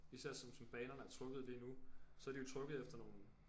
Især som som banerne er trukket lige nu så er de jo trukket efter nogle